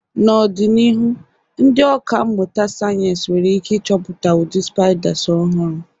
N'ọdịnihu, ndị ọkà mmụta sayensị nwere ike ịchọpụta ụdị spiders ọhụrụ.